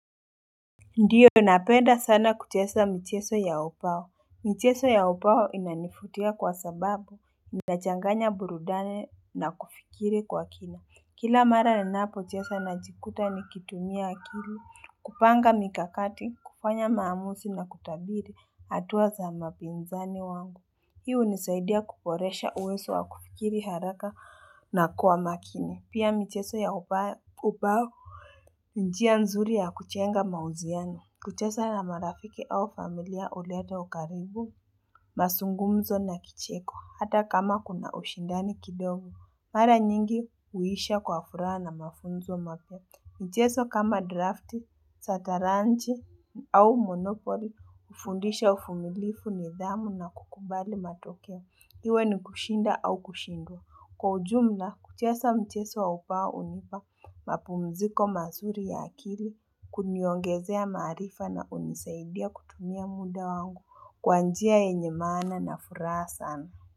Ndiyo napenda sana kuchesa mcheso ya upawo Mcheso ya upawo inanifutia kwa sababu nachanganya burudanina kufikiri kwa kina Kila mara ninapochesa najikuta nikitumia akili kupanga mikakati kufanya maamuzi na kutabiri hatua za mapinzani wangu Hii hunisaidia kuporesha uwezo wa kufikiri haraka na kuwa makini pia mcheso ya upawo ni njia nzuri ya kuchenga mauziano kuchesa na marafiki au familia uleta ukaribu, masungumzo na kicheko, hata kama kuna ushindani kidogo. Mara nyingi huisha kwa furaa na mafunzo mapya. Mcheso kama draft, sataranji au monopoli, hufundisha ufumilifu nidhamu na kukubali matokeo. Iwe ni kushinda au kushindwa. Kwa ujumla kuchesa mcheso wa upawa hunipa mapumziko mazuri ya akili kuniongezea maarifa na unisaidia kutumia muda wangu kwa njia yenye maana na furaha sana.